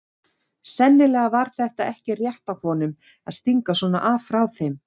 Sennilega var þetta ekki rétt af honum að stinga svona af frá þeim.